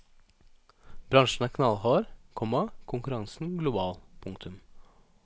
Bransjen er knallhard, komma konkurransen global. punktum